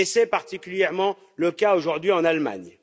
C'est particulièrement le cas aujourd'hui en Allemagne.